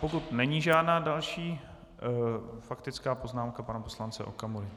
Pokud není žádná další - faktická poznámka pana poslance Okamury.